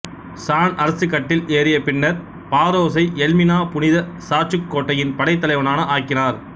San அரசுக் கட்டில் ஏறிய பின்னர் பாரோசை எல்மினா புனித சார்ச்சுக் கோட்டையின் படைத் தலைவனாக ஆக்கினார்